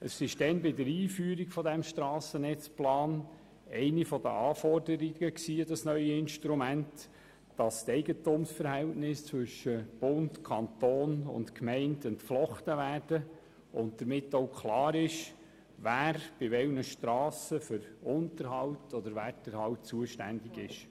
Bei der Einführung des Strassennetzplans war es eine der Anforderungen an das neue Instrument, dass die Eigentumsverhältnisse zwischen Bund, Kanton und Gemeinden entflochten werden und damit klar ist, wer bei welchen Strassen für Unterhalt oder Werterhalt zuständig ist.